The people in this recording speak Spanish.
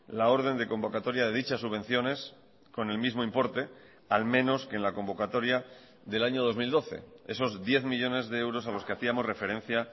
la orden de convocatoria de dichas subvenciones con el mismo importe al menos que en la convocatoria del año dos mil doce esos diez millónes de euros a los que hacíamos referencia